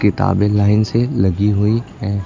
किताबें लाइन से लगी हुई हैं।